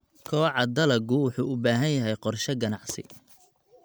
Kobaca dalaggu wuxuu u baahan yahay qorshe ganacsi.